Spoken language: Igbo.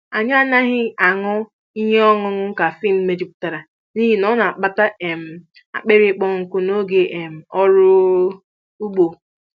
Anyị anaghị aṅụ ihe ọṅụṅụ kafịn mejupụtara n'ihi ọ na-akpata um akpịrị ịkpọ nkụ n'oge um ọrụ ugbo.